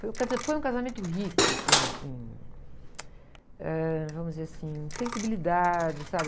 Foi um casa... Foi um casamento rico em, em... Eh, vamos dizer assim, sensibilidade, sabe?